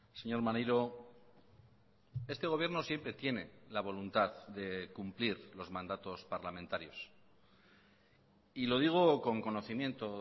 señor maneiro este gobierno siempre tiene la voluntad de cumplir los mandatos parlamentarios y lo digo con conocimiento